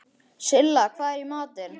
Silla, hvað er í matinn?